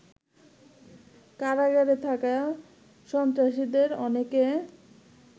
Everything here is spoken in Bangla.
কারাগারে থাকা সন্ত্রাসীদের অনেকে